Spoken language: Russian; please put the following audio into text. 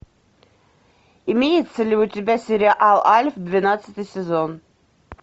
имеется ли у тебя сериал альф двенадцатый сезон